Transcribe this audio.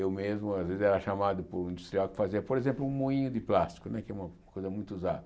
Eu mesmo, às vezes, era chamado por um industrial que fazia, por exemplo, um moinho de plástico, né que é uma coisa muito usada.